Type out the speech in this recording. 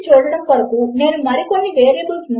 మన వద్ద రెండు వాల్యూస్ కూడా ఉన్నాయి కనుక ఇది సరిగానే ఉంటుంది